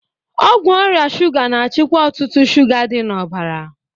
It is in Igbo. Ọgwụ ọrịa shuga na-achịkwa ọ̀tụ̀tụ̀ shuga dị n'ọbara.